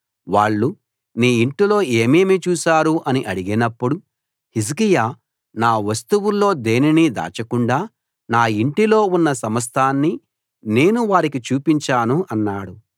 వాళ్ళు నీ ఇంటిలో ఏమేమి చూశారు అని అడిగినప్పుడు హిజ్కియా నా వస్తువుల్లో దేనినీ దాచకుండా నా ఇంటిలో ఉన్న సమస్తాన్నీ నేను వారికి చూపించాను అన్నాడు